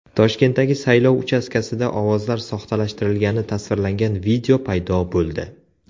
Toshkentdagi saylov uchastkasida ovozlar soxtalashtirilgani tasvirlangan video paydo bo‘ldi.